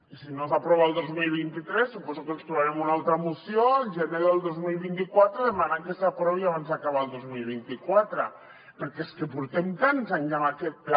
si no s’aprova el dos mil vint tres suposo que ens trobarem una altra moció el gener del dos mil vint quatre demanant que s’aprovi abans d’acabar el dos mil vint quatre perquè és que portem tants anys amb aquest pla